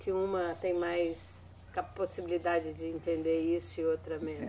Que uma tem mais ca, possibilidade de entender isso e outra menos?